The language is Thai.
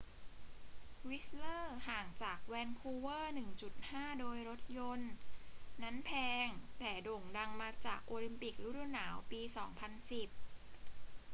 วิสต์เลอร์ ห่างจากแวนคูเวอร์ 1.5 โดยรถยนต์ นั้นแพง แต่โด่งดังมาจากโอลิมปิกฤดูหนาวปี 2010